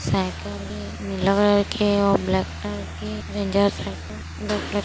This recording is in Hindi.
साइकिल ए नीला कलर के अउ ब्लैक कलर के रेंजर साइकिल ब्लैक कलर --